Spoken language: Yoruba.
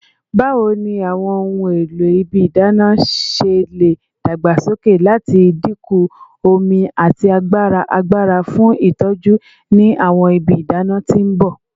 Bawo ni awọn ohun elo ibi idana ṣe le dagbasoke lati dinku omi ati agbara agbara fun itọju ni awọn ibi idana ti n bọ?